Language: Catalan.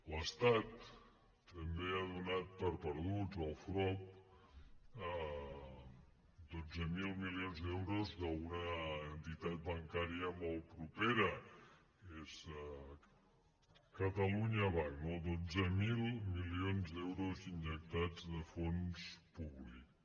l’estat també ha donat per perduts el frob dotze mil milions d’euros d’una entitat bancària molt propera és catalunya banc dotze mil milions d’euros injectats de fons públics